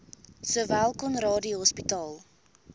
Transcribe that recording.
sowel conradie hospitaal